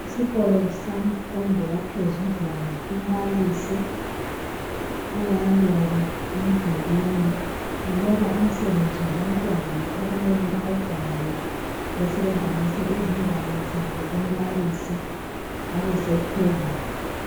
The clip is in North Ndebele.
Esikolo semfundo yaphezudlwana umbalisi uyaloba emdulwini uloba umsebenzi wabantwana okumele bawubhale besebe hambisa izingwalo zabo kumbalisi ebe sethwebula.